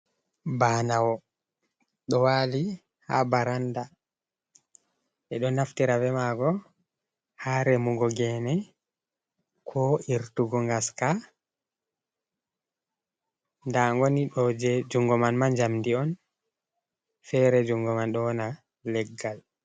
Banawo ɗo wali ha baranda ɓe ɗo naftira bemago ha remugo gene ko irtugo ngaska nda ngolni ɗo je jungo man jamdi on fere jungo man ɗo wona leggal